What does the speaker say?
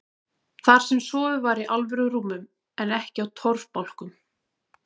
Þar sem sofið var í alvöru rúmum en ekki á torfbálkum.